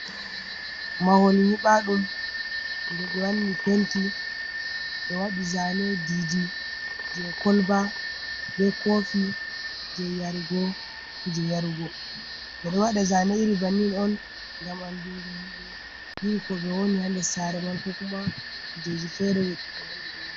Mahol nyibaɗum. Je be wanni penti. Be waɗi zane ɗiɗi je kolba be kofi je yargo kuje yargo. Be ɗo waɗa zane iri bannin on gam anɗungo himbe iri ko be woni ha nɗer sare man ko kuma kujeji fere.